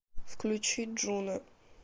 включи джуно